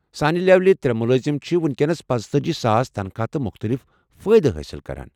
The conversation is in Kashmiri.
سانہِ لیولہِ ترےٚ ملٲزم چھِ وُنکیٚنس پانژتأجی ساس تنخواہ تہٕ مختلف فٲیدٕ حٲصل کران۔